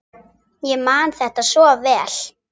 Ég man þetta svo vel.